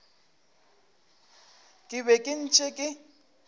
ke be ke ntše ke